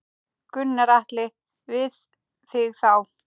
Gunnar Atli: Við þig þá?